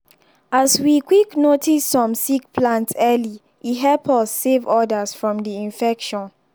as we quickly notice some sick plants early e help us save others from the infection